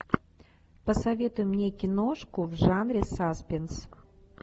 посоветуй мне киношку в жанре саспенс